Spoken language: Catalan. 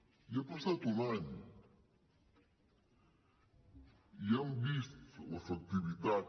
i ha passat un any i han vist l’efectivitat